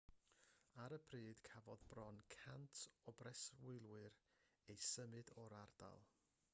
ar y pryd cafodd bron 100 o breswylwyr eu symud o'r ardal